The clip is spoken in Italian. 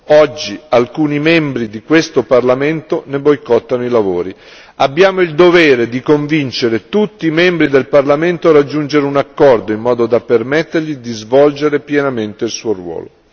Oggi, alcuni membri di questo parlamento ne boicottano i lavori. Abbiamo il dovere di convincere tutti i membri del parlamento a raggiungere un accordo, in modo da permettergli di svolgere pienamente il suo ruolo.